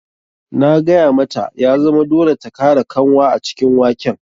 Na gaya mata ya zama dole ta kara kanwa a cikin waken.